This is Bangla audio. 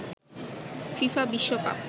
ফিফা বিশ্বকাপ